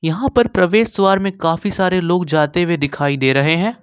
वहां पर प्रवेश द्वार में काफी सारे लोग जाते हुए दिखाई दे रहे हैं।